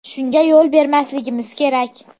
Shunga yo‘l bermasligimiz kerak.